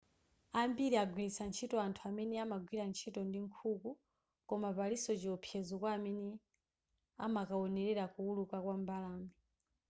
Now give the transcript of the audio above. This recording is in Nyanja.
ambiri agwiritsa ntchito anthu amene amagwira ntchito ndi nkhuku koma palinso chiopsezo kwa amene amakaonelera kuwuluka kwa mbalame